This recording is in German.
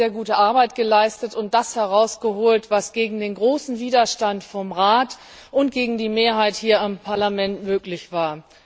Sie hat sehr gute Arbeit geleistet und das herausgeholt, was gegen den großen Widerstand des Rates und gegen die Mehrheit hier im Parlament möglich war.